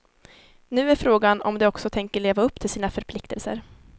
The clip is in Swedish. Nu är frågan om de också tänker leva upp till sina förpliktelser.